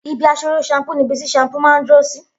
Ibi àsoró shampúú ni ibi tí shampúú mà n duró sí